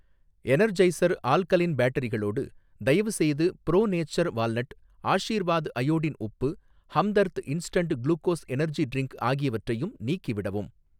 Energizer alkaline பேட்டரிகளோடு, தயவுசெய்து Pro Nature walnut, Aashirvaad iodine உப்பு, Hamdard instant glucose energy drink ஆகியவற்றையும் நீக்கிவிடவும்.